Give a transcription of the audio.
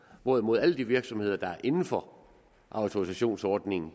hvorimod alle de virksomheder der er inden for autorisationsordningerne